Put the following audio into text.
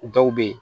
Dɔw be yen